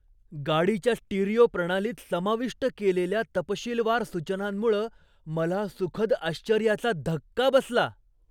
गाडीच्या स्टिरिओ प्रणालीत समाविष्ट केलेल्या तपशीलवार सूचनांमुळं मला सुखद आश्चर्याचा धक्का बसला.